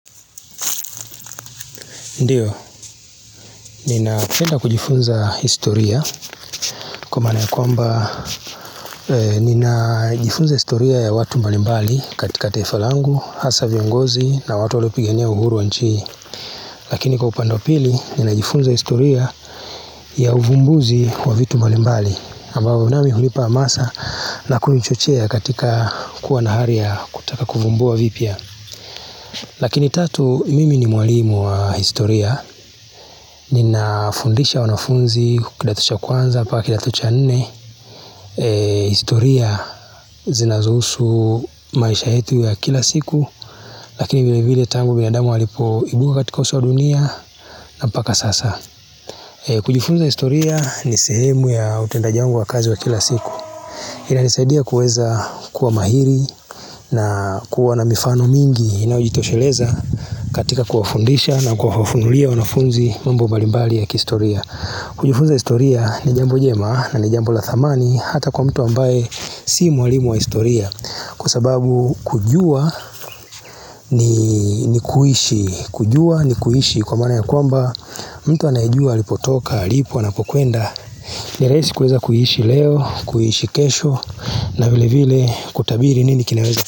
Ndiyo, ninapenda kujifunza historia kwa maana ya kwamba, ninajifunza historia ya watu mbalimbali katika taifa langu, hasaa viongozi na watu waliopigania uhuru wa nchi hii, lakini kwa upande wa pili ninajifunza historia ya uvumbuzi wa vitu mbalimbali, ambao nami hulipa amasa na kunichochea katika kuwa na hali ya kutaka kuvumbua vipya. Lakini tatu mimi ni mwalimu wa historia Ninafundisha wanafunzi kidato cha kwanza mpaka kidato cha nne historia zinazohusu maisha yetu ya kila siku Lakini vile vile tangu binadamu walipoibuka katika uso wa dunia na mpaka sasa kujifunza historia ni sehemu ya utendaji wangu wa kazi wa kila siku inanisaidia kuweza kuwa mahiri na kuwa na mifano mingi Inayojitosheleza katika kuwafundisha na kuwafunulia wanafunzi mambo mbalimbali ya kihistoria Kujufunza historia ni jambo jema na ni jambo la thamani Hata kwa mtu ambaye si mwalimu wa historia Kwa sababu kujua ni kuishi kujua ni kuishi kwa maana ya kwamba mtu anayejua alipotoka, alipo, anapokuenda, ni rahisi kuweza kuishi leo, kuishi kesho na vile vile kutabiri nini kinaweza.